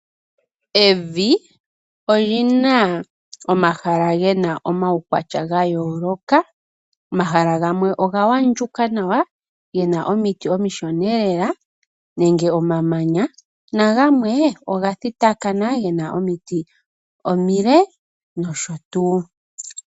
Evi olyina omahala gena omaukwatya ga yooloka . Omahala gamwe oga andjuka nawa gena omiti omishona lela nenge omamanya, nagamwe oga thitakana kena omiti omile nosho tuu.